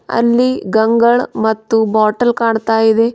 ಅಲ್ಲಿ ಗಂಗಲ್ ಮತ್ತು ಬಾಟಲ್ ಕಾಣ್ತಾ ಇವೆ.